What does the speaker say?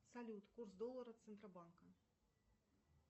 салют курс доллара центробанка